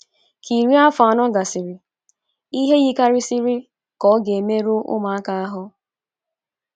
Ka iri afọ anọ gasịrị, ihe yikarịsịrị ka ọ ga - emerụ ụmụaka ahụ.